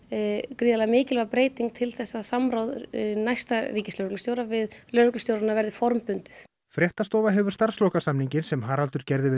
gríðarlega mikilvæg breyting til þess að samráð næsta ríkislögreglustjóra við lögreglustjórana verði formbundið fréttastofa hefur starfslokasamninginn sem Haraldur gerði við